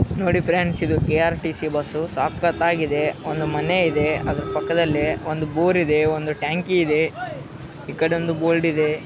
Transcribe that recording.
ನೋಡಿ ಫ್ರೆಂಡ್ಸ್‌ ಇದು K R T C bus ಸಖತ್ತಾಗಿದೆ. ಒಂದು ಮನೆ ಇದೆ ಅದರ ಪಕ್ಕದಲ್ಲೆ. ಒಂದು ಬೋರ್‌ ಇದೆ ಒಂದು ಟ್ಯಾಂಕಿ ಇದೆ. ಈ ಕಡೆ ಒಂದು ಬೋಲ್ಡ್ ಇದೆ.